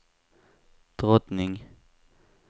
drottning